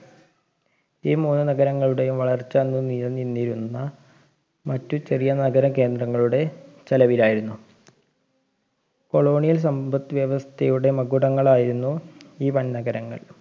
ഈ മൂന്ന് നഗരങ്ങളുടെയും വളർച്ച അന്ന് നിലനിന്നിരുന്ന മറ്റു ചെറിയ നഗര കേന്ദ്രങ്ങളുടെ ചെലവിലായിരുന്നു colonial സമ്പത്ത് വ്യവസ്ഥയുടെ മകുടങ്ങളായിരുന്നു ഈ വൻ നഗരങ്ങൾ